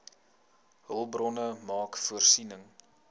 hulpbronne maak voorsiening